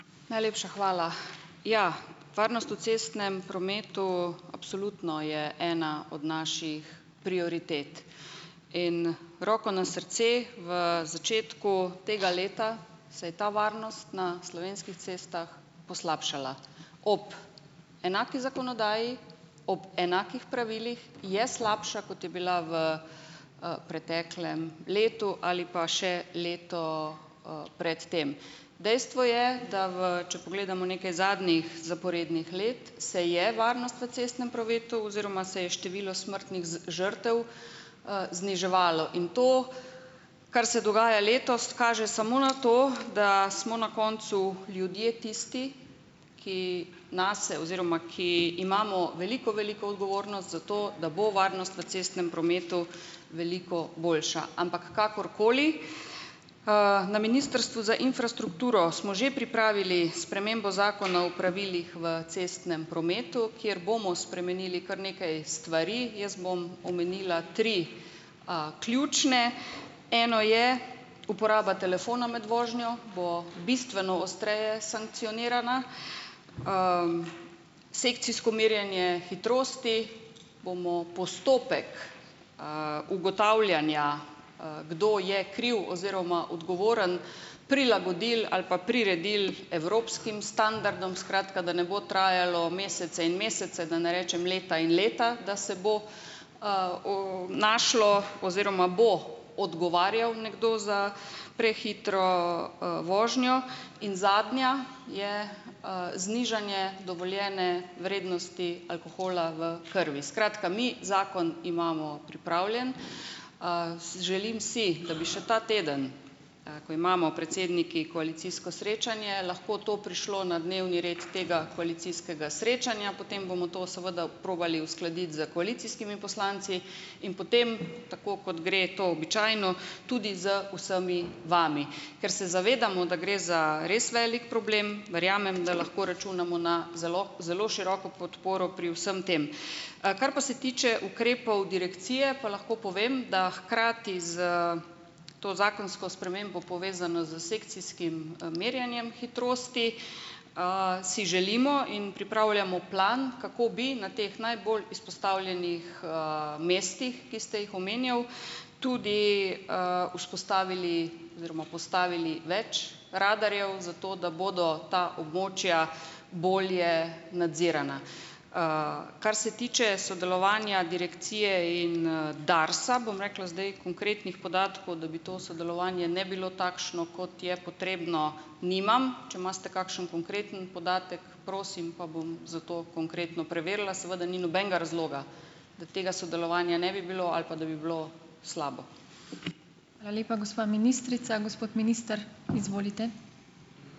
Najlepša hvala. Ja, varnost v cestnem prometu absolutno je ena od naših prioritet. In roko na srce v začetku tega leta se je ta varnost na slovenski cestah poslabšala. Ob enaki zakonodaji, ob enakih pravilih, je slabša, kot je bila v preteklem letu ali pa še leto, pred tem. Dejstvo je, da v če pogledamo nekaj zadnjih zaporednih let, se je varnost v cestnem prometu oziroma se je število smrtnih žrtev, zniževalo. In to, kar se dogaja letos, kaže samo na to, da smo na koncu ljudje tisti, ki nase oziroma, ki imamo veliko, veliko odgovornost za to, da bo varnost v cestnem prometu veliko boljša. Ampak kakorkoli. Na Ministrstvu za infrastrukturo smo že pripravili spremembo Zakona o pravilih v cestnem prometu, kjer bomo spremenili kar nekaj stvari. Jaz bom omenila tri ključne. Eno je uporaba telefona med vožnjo bo bistveno ostreje sankcionirana. Sekcijsko merjenje hitrosti bomo, postopek, ugotavljanja, kdo je kriv oziroma odgovoren, prilagodili ali pa priredili evropskim standardom. Skratka, da ne bo trajalo mesece in mesece, da ne rečem leta in leta, da se bo našlo oziroma bo odgovarjal nekdo za prehitro, vožnjo. In zadnja, je, znižanje dovoljene vrednosti alkohola v krvi. Skratka, mi zakon imamo pripravljen. Želim si, da bi še ta teden, ko imamo predsedniki koalicijsko srečanje, lahko to prišlo na dnevni red tega koalicijskega srečanja, potem bomo to seveda probali uskladiti s koalicijskimi poslanci in potem, tako kot gre to običajno, tudi z vsemi vami. Ker se zavedamo, da gre za res velik problem, verjamem, da lahko računamo na zelo zelo široko podporo pri vsem tem. Kar pa se tiče ukrepov direkcije, pa lahko povem, da hkrati s to zakonsko spremembo povezano s sekcijskim, merjenjem hitrosti, si želimo in pripravljamo plan, kako bi na teh najbolj izpostavljenih mestih, ki ste jih omenil, tudi, vzpostavili oziroma postavili več radarjev, zato da bodo ta območja bolje nadzirana. Kar se tiče sodelovanja direkcije in Darsa, bom rekla, zdaj konkretnih podatkov, da bi to sodelovanje ne bilo takšno, kot je potrebno, nimam. Če imate kakšen konkreten podatek, prosim, pa bom za to konkretno preverila. Seveda ni nobenega razloga, da tega sodelovanja ne bi bilo ali pa da bi bilo slabo.